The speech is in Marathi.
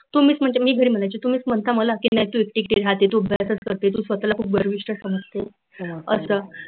तुम्हीच म्हणजे मी नाही म्हणायची, तुम्हीच म्हणता मला म्हणजे मी नाही मला की नाही तु एकटी एकटी राहते तु घरातच राहते